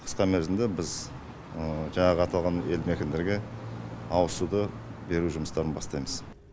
қысқа мерзімде біз жаңағы аталған елді мекендерге ауызсуды беру жұмыстарын бастаймыз